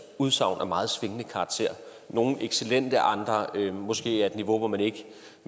udsagn af meget svingende karakter nogle excellente andre måske på et niveau hvor man ikke